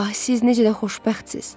Ah, siz necə də xoşbəxtsiz!